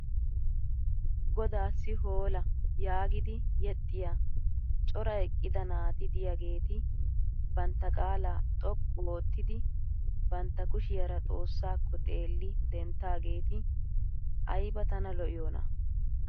godaassi hoola! yaagiddi yexxiya cora eqqida naati diyaageti bantta qaalaa xoqqu oottidi bantta kushiyaara xoossaakko xeeli denttaageeti aybba tana lo'iyoonaa!